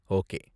Okay!